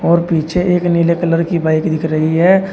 और पीछे एक नीले कलर की बाइक दिख रही है।